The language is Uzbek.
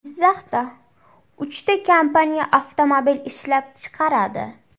Jizzaxda uchta kompaniya avtomobil ishlab chiqaradi.